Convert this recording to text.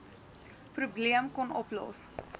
probleem kon oplos